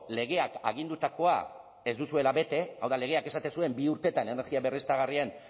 legeak agindutakoa ez duzuela bete hau da legeak esaten zuen bi urtetan energia berriztagarrien